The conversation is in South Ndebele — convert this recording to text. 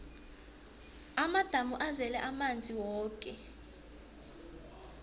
amadamu azele amanzi woke